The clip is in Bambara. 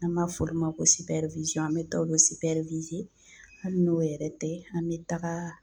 An b'a fɔr'u ma ko an be taa olu hali n'o yɛrɛ tɛ an be taga